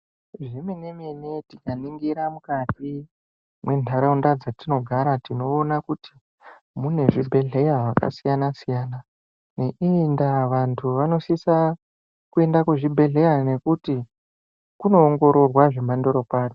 Zvemene mene tikaningira mukati mundaraunda dzatinogara tinoona kuti mune zvibhedhlera zvakasiyana siyana ne iyi ndaa vanhu vanosisa kuenda kuzvibhedhlera nekuti kunoongororwa zvemandorokwati.